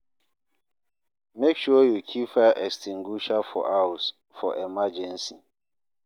Make sure you keep fire extinguisher for house, for emergency.